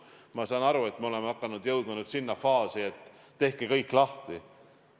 Ma saan aru, et me oleme hakanud jõudma sinna faasi, et tehke kõik lahti.